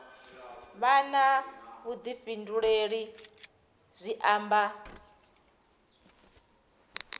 vha na vhuḓifhinduleli zwi amba